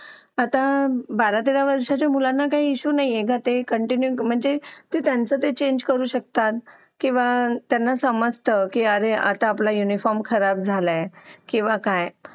Late होतं सर्दी खोकला हा एक वाढलं आहे. एका मुलाला क्लास पूर्ण क्लास त्याच्यामध्ये वाहून निघत निघत असतो असं म्हणायला हरकत नाही. हो डेंग्यू, मलेरिया यासारखे आजार पण ना म्हणजे लसीकरण आहे. पूर्ण केले तर मला नाही वाटत आहे रोप असू शकतेपुडी लसीकरणाबाबत थोडं पालकांनी लक्ष दिलं पाहिजे की आपला मुलगा या वयात आलेला आहे. आता त्याच्या कोणत्या लसी राहिलेले आहेत का?